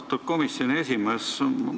Austatud komisjoni esimees!